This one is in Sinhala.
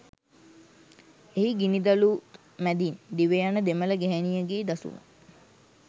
එහි ගිනිදළුත් මැදින් දිවයන දෙමළ ගැහැනියගේ දසුන